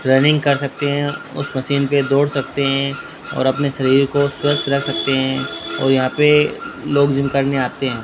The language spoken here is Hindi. रनिंग कर सकते हैं उस मशीन पे दौड़ सकते हैं और अपने शरीर को स्वस्थ रख सकते हैं और यहां पे लोग जिम करने आते हैं।